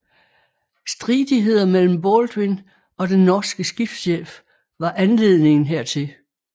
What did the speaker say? Stridigheder mellem Baldwin og den norske skibschef var anledningen hertil